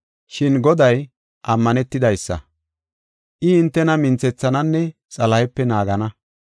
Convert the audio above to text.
Shin Goday ammanetidaysa; I hintena minthethananne Xalahepe naagana.